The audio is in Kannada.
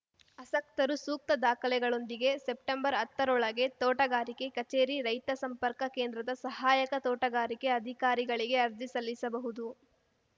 ಆಸಕ್ತರು ಸೂಕ್ತ ದಾಖಲೆಗಳೊಂದಿಗೆ ಸೆಪ್ಟೆಂಬರ್ಹತ್ತರೊಳಗೆ ತೋಟಗಾರಿಕೆ ಕಚೇರಿ ರೈತ ಸಂಪರ್ಕ ಕೇಂದ್ರದ ಸಹಾಯಕ ತೋಟಗಾರಿಕೆ ಅಧಿಕಾರಿಗಳಿಗೆ ಅರ್ಜಿ ಸಲ್ಲಿಸಬಹುದು